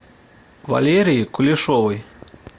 валерии кулешовой